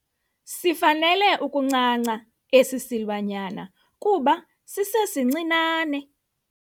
Sifanele ukuncanca esi silwanyana kuba sisesincinane.